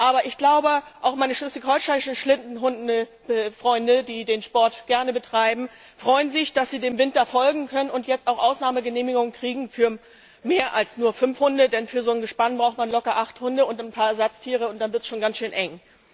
Aber ich glaube, auch meine schleswig holsteinischen Schlittenhundefreunde, die den Sport gerne betreiben, freuen sich, dass sie dem Winter folgen können und jetzt auch Ausnahmeregelungen für mehr als nur fünf Hunde bekommen, denn für ein solches Gespann braucht man locker acht Hunde und ein paar Ersatztiere, und dann wird es schon ganz schön eng.